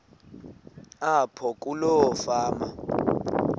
apho kuloo fama